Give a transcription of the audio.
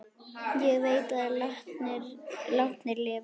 Ég veit að látnir lifa.